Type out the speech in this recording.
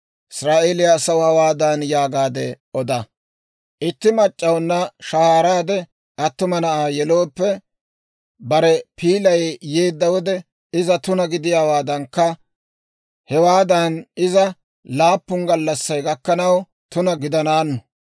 «Israa'eeliyaa asaw hawaadan yaagaade oda; ‹Itti mac'c'awuna shahaaraade attuma na'aa yelooppe, bare piilay yeedda wode iza tuna gidiyaawaadankka, hewaadan iza laappun gallassay gakkanaw tuna gidanaanu.